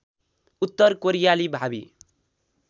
उत्तर कोरियाली भावी